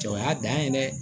Cɛ o y'a dan ye dɛ